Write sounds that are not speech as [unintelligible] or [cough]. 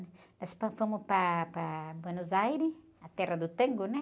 Nós [unintelligible] para, para Buenos Aires, a terra do tango, né?